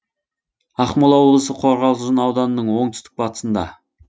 ақмола облысы қорғалжын ауданының оңтүстік батысында